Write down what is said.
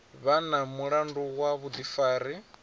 vha na mulandu wa vhuḓifari